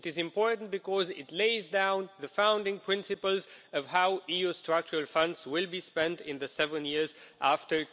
It is important because it lays down the founding principles of how EU Structural Funds will be spent in the seven years after